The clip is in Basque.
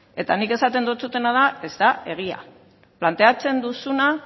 eta nik esaten dizudana da ez da egia planteatzen duzuna